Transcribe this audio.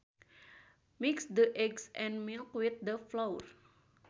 Mix the eggs and milk with the flour